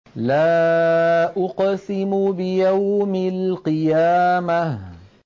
لَا أُقْسِمُ بِيَوْمِ الْقِيَامَةِ